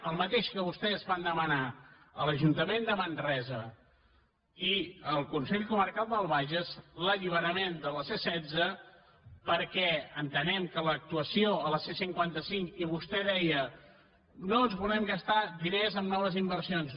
el mateix que vostès van demanar a l’ajuntament de manresa i al consell comarcal del bages l’alliberament de la c setze perquè entenem que l’actuació a la c cinquanta cinc i vostè deia no ens volem gastar diners en noves inversions